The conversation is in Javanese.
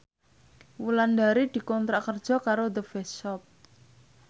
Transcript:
Wulandari dikontrak kerja karo The Face Shop